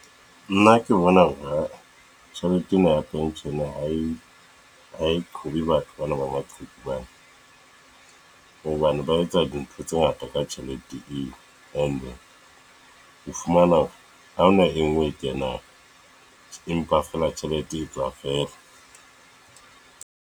Nna ke bona hona tjhelete ena ya pension ha e a e qhobe batho bana ba maqheku hobane. Hobane ba etsa dintho tse ngata ka ka tjhelete eo. And ho fumana hore hahona e nngwe e kenang. Empa feela tjhelete e tswa feela.